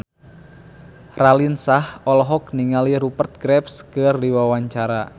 Raline Shah olohok ningali Rupert Graves keur diwawancara